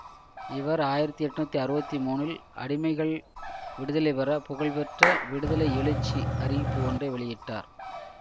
இவர் ஆயிரத்தி எட்ணூற்றி அறுபத்தி மூனில் அடிமைகள் விடுதலை பெற புகழ்பெற்ற விடுதலை எழுச்சி அறிவிப்பு ஒன்றை வெளியிட்டார்